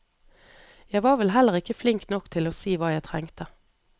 Jeg var vel heller ikke flink nok til å si hva jeg trengte.